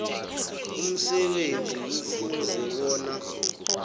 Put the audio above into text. umsebenzi kufuze bona